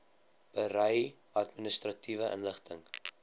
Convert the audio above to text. berei administratiewe inligting